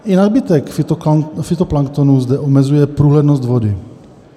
I nadbytek fytoplanktonu zde omezuje průhlednost vody.